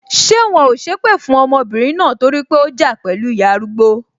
Ṣé wọn ò sépè fún ọmọbìnrin náà torí pé ó ja pẹlu ìyá arúgbó?